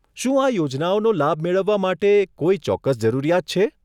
શું આ યોજનાઓનો લાભ મેળવવા માટે કોઈ ચોક્કસ જરૂરિયાત છે?